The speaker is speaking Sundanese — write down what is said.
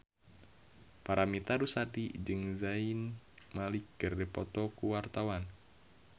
Paramitha Rusady jeung Zayn Malik keur dipoto ku wartawan